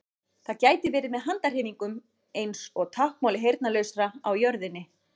Það gæti verið með handahreyfingum eins og táknmáli heyrnarlausra á jörðinni.